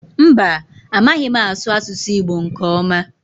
Mba, amaghị m asụ asụsụ Igbo nke ọma.